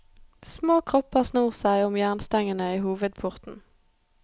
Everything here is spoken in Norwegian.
Små kropper snor seg om jernstengene i hovedporten.